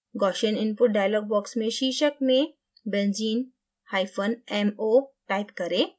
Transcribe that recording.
gaussian input dialog box में शीर्षक में benzene hyphen mo type करें